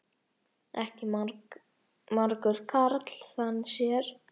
Ekki margur karl þann sér.